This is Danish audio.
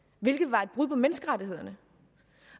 hvilket var et brud på menneskerettighederne